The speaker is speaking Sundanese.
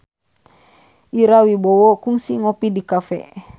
Ira Wibowo kungsi ngopi di cafe